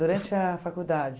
Durante a faculdade?